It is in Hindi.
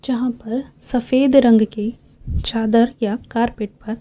जहा पर सफेद रंग की चादर या कार्पेट पर--